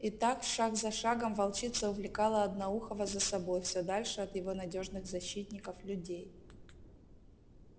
и так шаг за шагом волчица увлекала одноухого за собой все дальше от его надёжных защитников людей